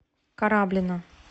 кораблино